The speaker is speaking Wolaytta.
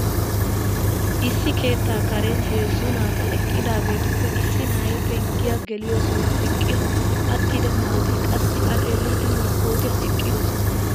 Issi keettaa karen heezzu naati eqqidaageetuppe issi na'ay penggiya geliyo sohuwan eqqin attida naa"u naati qassi A xeelliiddi maskkootiyan eqqidosona.